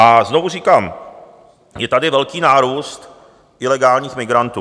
A znovu říkám, je tady velký nárůst ilegálních migrantů.